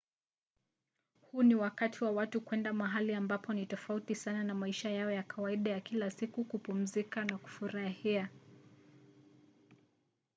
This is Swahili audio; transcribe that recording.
huu ni wakati watu wanaenda mahali ambapo ni tofauti sana na maisha yao ya kawaida ya kila siku kupumzika na kufurahia